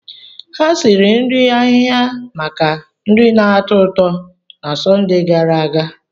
Ha siri nri ahịhịa maka nri na-atọ ụtọ na Sọnde gara aga.